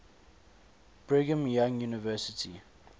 brigham young university